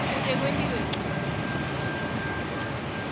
kute kwentiwe ncono